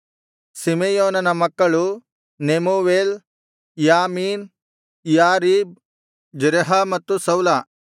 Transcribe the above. ಸಿಮೆಯೋನನ ಮಕ್ಕಳು Nemuel Jamin Jarib Zerah ಮತ್ತು ಸೌಲ